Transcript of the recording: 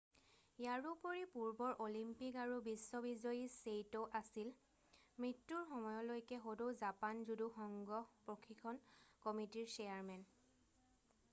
ইয়াৰোপৰি পূৰ্বৰ অলিম্পিক আৰু বিশ্ব বিজয়ী ছেইট' আছিল মৃত্যুৰ সময়লৈকে সদৌ জাপান জুদু সংঘ প্ৰশিক্ষণ কমিটিৰ চেয়াৰমেন